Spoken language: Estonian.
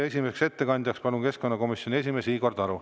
Esimese ettekandjana palun siia keskkonnakomisjoni esimehe Igor Taro.